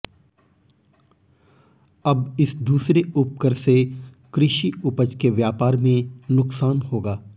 अब इस दूसरे उपकर से कृषि उपज के व्यापार में नुकसान होगा